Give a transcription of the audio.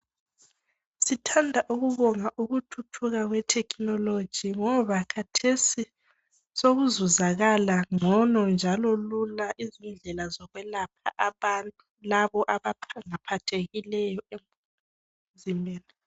Sithanda ukubonga ukuthuthuka kwethekhinoloji ngoba khathesi sokuzuzakala ngcono njalo lula izindlela zokwelapha abantu labo abaphathekileyo emzimbeni.